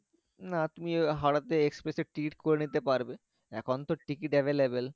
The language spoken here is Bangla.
না তুমি হাওড়া তে express এ ticket করে নিতে পারবে এখন তো ticket available